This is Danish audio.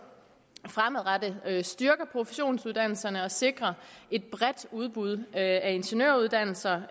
fremadrettet styrker professionsuddannelserne og sikrer et bredt udbud af ingeniøruddannelser